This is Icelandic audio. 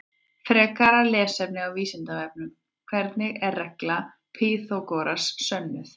Frekara lesefni á Vísindavefnum: Hvernig er regla Pýþagórasar sönnuð?